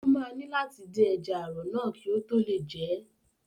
Ó máa ní láti dín ẹja ààrọ̀ náà kí òun tó lè jẹ ẹ́.